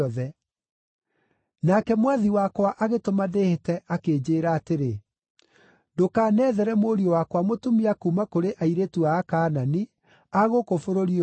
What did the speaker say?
Nake mwathi wakwa agĩtũma ndĩĩhĩte akĩnjĩĩra atĩrĩ, ‘Ndũkanethere mũriũ wakwa mũtumia kuuma kũrĩ airĩtu a Akaanani, a gũkũ bũrũri ũyũ ndũũraga,